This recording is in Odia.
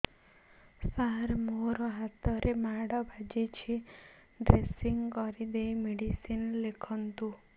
ସାର ମୋ ହାତରେ ମାଡ଼ ବାଜିଛି ଡ୍ରେସିଂ କରିଦେଇ ମେଡିସିନ ଲେଖନ୍ତୁ